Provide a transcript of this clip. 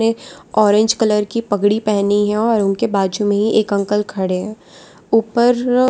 ये orange colour की पगड़ी पहनी है और उनके बाजू में ही एक अंकल खड़े है ऊपर --